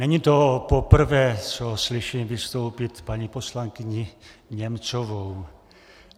Není to poprvé, co slyším vystoupit paní poslankyni Němcovou.